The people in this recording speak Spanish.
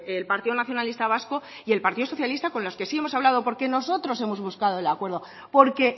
el partido nacionalista vasco y el partido socialista con los que sí hemos hablado porque nosotros hemos buscado el acuerdo porque